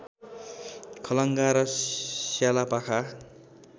खलङ्गा र स्यालापाखा